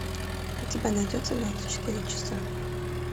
у тебя найдется двадцать четыре часа